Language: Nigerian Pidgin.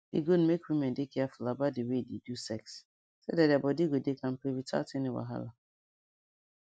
e good make women dey careful about the way they do sex so that their body go dey kampe without any wahala